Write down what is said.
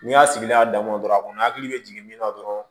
N'i y'a sigi n'a damɔ a kɔni hakili bɛ jigin min na dɔrɔn